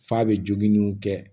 F'a bɛ jogininw kɛ